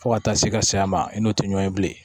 Fo ka taa se ka s'a ma i n'o tɛ ɲɔn ye bilen